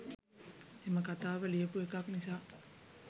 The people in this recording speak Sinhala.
එම කතාව ලියපු එකක් නිසා